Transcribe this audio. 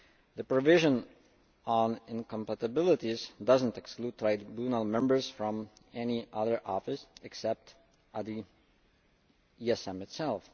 The provision on incompatibilities does not exclude Tribunal members from any other office, except at the ESM itself.